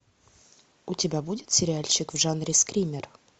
у тебя будет сериальчик в жанре скример